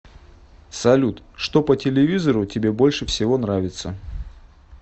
салют что по телевизору тебе больше всего нравится